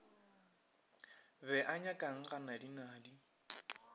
be a nyakang ga nadinadi